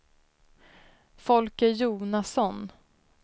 Folke Jonasson